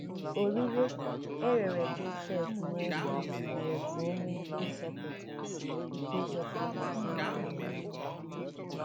Orire e rere Josef n’ohu mere ka o nwee ike ịzọpụta ike ịzọpụta ezinụlọ ya.